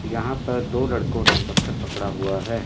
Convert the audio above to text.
यहां पर दो लड़कों ने पत्थर पकड़ा हुआ है।